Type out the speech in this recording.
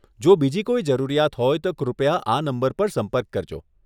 જો બીજી કોઈ જરૂરિયાત હોય તો કૃપયા આ નંબર પર સંપર્ક કરજો.